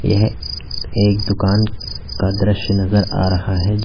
यह एक दुकान का दृश्य नज़र आ रहा है।